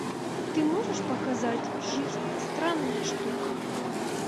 ты можешь показать жизнь странная штука